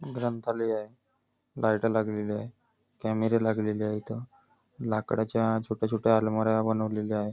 ग्रंथालय आहे लाईट लागले आहे कॅमेरे लागलेलं आहेत इथे लाकडाच्या छोट्या छोट्या आलमऱ्या लागल्या आहे.